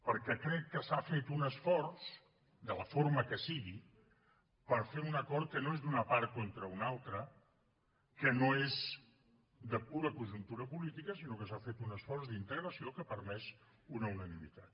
perquè crec que s’ha fet un esforç de la forma que sigui per fer un acord que no és d’una part contra una altra que no és de pura conjuntura política sinó que s’ha fet un esforç d’integració que ha permès una unanimitat